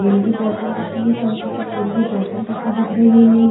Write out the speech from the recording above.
तेल की बोतल रखी सरसो की तेल की बोतल रखी दिख रही है।